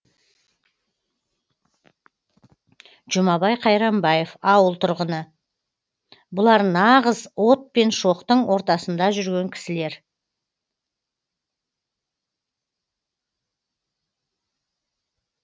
жұмабай қайранбаев ауыл тұрғыны бұлар нағыз от пен шоқтың ортасында жүрген кісілер